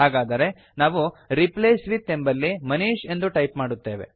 ಹಾಗಾದರೆ ನಾವು replace with ಎಂಬಲ್ಲಿ ಮನೀಶ್ ಎಂದು ಟೈಪ್ ಮಾಡುತ್ತೇವೆ